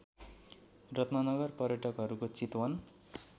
रत्ननगर पयर्टकहरूको चितवन